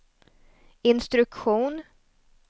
instruktion